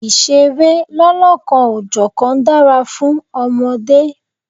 Ìṣeré lọ́lọ́kan-ò-jọ̀kan dára fún ọmọdé.